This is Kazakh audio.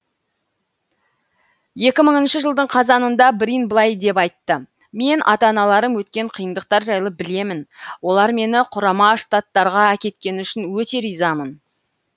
екі мыңыншы жылдың қазанында брин былай деп айтты мен ата аналарым өткен қиындықтар жайлы білемін олар мені құрама штаттарға әкеткені үшін өте ризамын